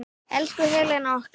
Elsku Helena okkar.